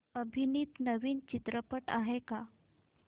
अभिनीत नवीन चित्रपट आहे का